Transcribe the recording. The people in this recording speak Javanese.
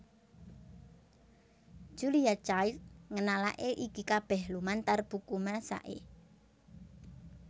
Julia Child ngenalaké iki kabéh lumantar buku masaké